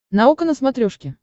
наука на смотрешке